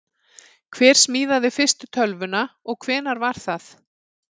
hver smíðaði fyrstu tölvuna og hvenær var það